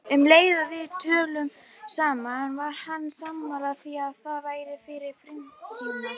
Um leið og við töluðum saman var hann sammála því að það væri fyrir framtíðina.